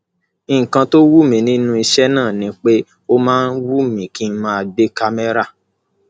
nǹkan tó wù mí nínú iṣẹ náà ni pé ó máa ń wù mí kí n máa gbé kámẹrà